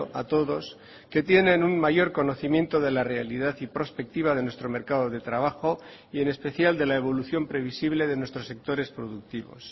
a todos que tienen un mayor conocimiento de la realidad y prospectiva de nuestro mercado de trabajo y en especial de la evolución previsible de nuestros sectores productivos